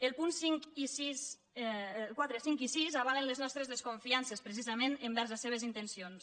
els punts quatre cinc i sis avalen les nostres desconfiances precisament envers les seves intencions